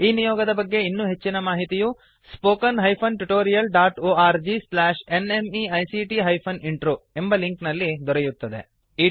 ಈ ನಿಯೋಗದ ಬಗ್ಗೆ ಇನ್ನೂ ಹೆಚ್ಚಿನ ಮಾಹಿತಿಯು spoken hyphen tutorial dot O R G slash N M E I C T hyphen intro ಎಂಬ ಲಿಂಕ್ ನಲ್ಲಿ ದೊರೆಯುತ್ತದೆ